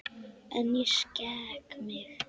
En ég skek mig.